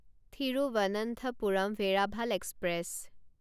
Thiruvananthapuram Veraval express